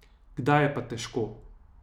Kdaj je pa težko ...